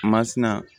Masina